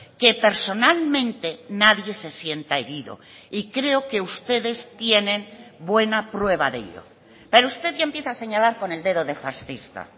que personalmente nadie se sienta herido y creo que ustedes tienen buena prueba de ello pero usted ya empieza a señalar con el dedo de fascista